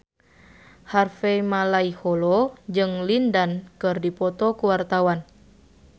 Harvey Malaiholo jeung Lin Dan keur dipoto ku wartawan